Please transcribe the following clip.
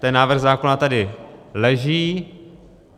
Ten návrh zákona tady leží.